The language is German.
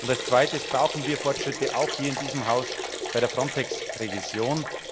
Als Zweites brauchen wir Fortschritte auch hier in diesem Haus bei der Frontex Revision.